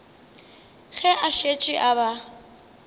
ge a šetše a ba